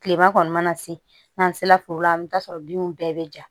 Kilema kɔni mana se n'an sera foro la an mi taa sɔrɔ binw bɛɛ be ja